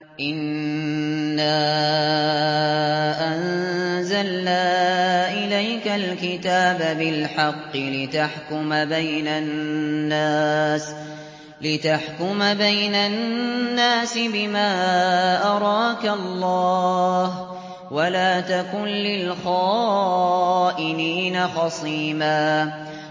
إِنَّا أَنزَلْنَا إِلَيْكَ الْكِتَابَ بِالْحَقِّ لِتَحْكُمَ بَيْنَ النَّاسِ بِمَا أَرَاكَ اللَّهُ ۚ وَلَا تَكُن لِّلْخَائِنِينَ خَصِيمًا